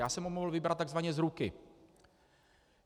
Já jsem ho mohl vybrat tzv. z ruky.